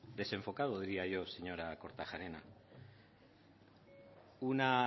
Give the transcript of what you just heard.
desenfocado diría yo señora kortajarena una